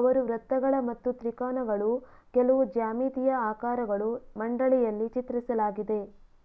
ಅವರು ವೃತ್ತಗಳ ಮತ್ತು ತ್ರಿಕೋನಗಳು ಕೆಲವು ಜ್ಯಾಮಿತೀಯ ಆಕಾರಗಳು ಮಂಡಳಿಯಲ್ಲಿ ಚಿತ್ರಿಸಲಾಗಿದೆ